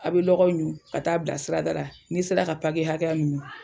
A' be lɔgɔw ɲun ka taa'a bila sirada ra, n'i sera ka hakɛya min ɲun